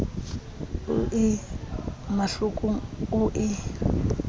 o ie mahlokong o ie